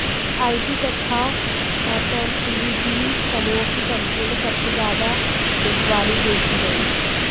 IT तथा FMCG समूहों की कंपनियों में सबसे ज्यादा बिकवाली देखी गयी